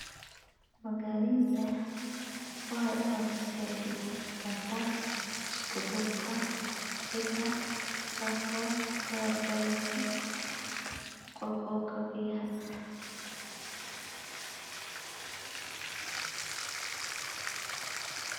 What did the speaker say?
Magaaleynta waxay u horseedi kartaa isku-duubka ciidda, taas oo ka hortagaysa qulqulka biyaha.